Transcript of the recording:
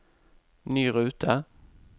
ny rute